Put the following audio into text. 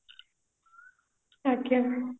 ଆଜ୍ଞା